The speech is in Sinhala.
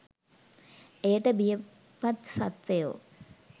එයට බිය පත් සත්ත්වයෝ